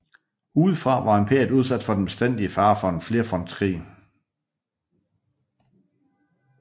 Udefra var imperiet udsat for den bestandige fare for en flerfrontskrig